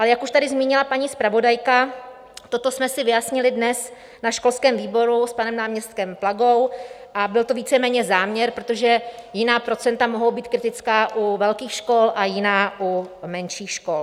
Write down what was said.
Ale jak už tady zmínila paní zpravodajka, toto jsme si vyjasnili dnes na školském výboru s panem náměstkem Plagou a byl to víceméně záměr, protože jiná procenta mohou být kritická u velkých škol a jiná u menších škol.